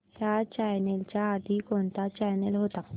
ह्या चॅनल च्या आधी कोणता चॅनल होता